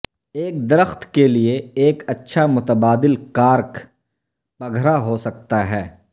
ایک درخت کے لئے ایک اچھا متبادل کارک پگھرا ہو سکتا ہے